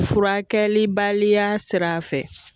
Furakɛlibaliya sira fɛ